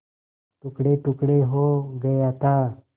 टुकड़ेटुकड़े हो गया था